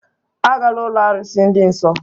Agala ụlọ arụsị dị nsọ!